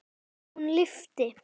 Hún lifi!